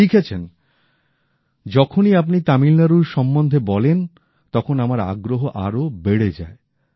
উনি লিখেছেন যখনই আপনি তামিলনাড়ু সম্বন্ধে বলেন তখন আমার আগ্রহ আরো বেড়ে যায়